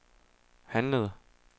handlede